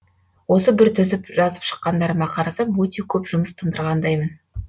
осы бір тізіп жазып шыққандарыма қарасам өте көп жұмыс тындырғандаймын